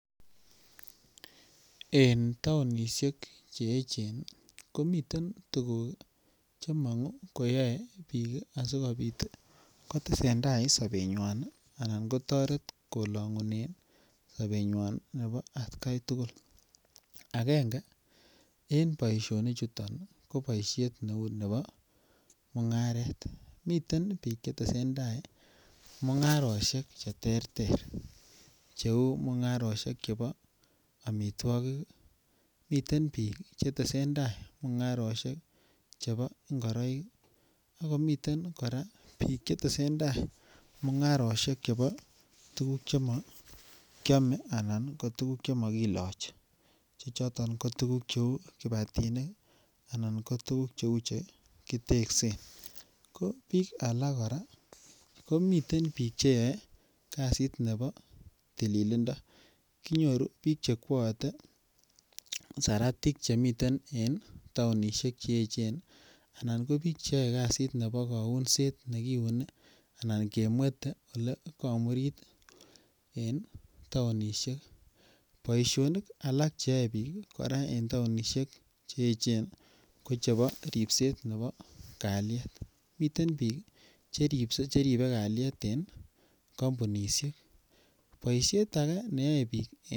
En taonisiek che echen komiten tuguk che mangu koyae biik asigopit kotesendai en sobenywan anan kotaret kolangunenge sobenyan nebo atkai tugul. Agenge en boisioni chuton ko boisiet neu nebo mungaret. Miten biik che tesenda mungarosiek cheterter cheu mungarosiek chebo amitwogik. Miten biik chetesendai mungarosiek chebo ingoroik ak komiten kora biik chetesenda mungarisiek chebo tuguk chemakyome anan ko tuguk chemakilochi. Che choton ko tuguk cheu kibatinik anan ko tuguk cheu che kiteksen. Ko biik alak kora komiten biik cheyoe kasit nebo tililindo. Kinyoru biik che kwoote saratik che miten en taonisiek che eechen anan ko biik cheyoe kasit nebo kaunset ne kiune anan kemwete ole kamurit en taonisiek. Boisionik alak che yoe biik en taonisiek che eechen ko ripset nebo kalyet. Miten biik che ribe kalyet en kampunisiek.